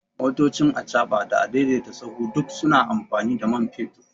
Motoci, achaɓa da a daidaita sahu duk suna amfani da man fetur